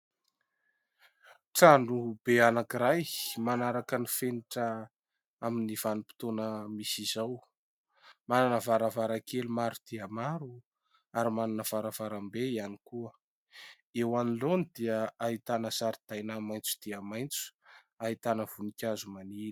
Trano be anankiray manaraka ny fenitra amin'ny vanim-potoana misy izao. Manana varavarankely maro dia maro ary manana varavarambe ihany koa. Eo anoloany dia ahitana zaridaina maitso dia maitso, ahitana voninkazo maniry.